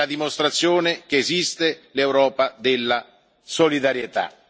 È la dimostrazione che esiste l'Europa della solidarietà.